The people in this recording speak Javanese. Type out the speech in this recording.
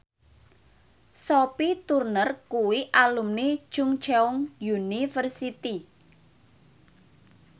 Sophie Turner kuwi alumni Chungceong University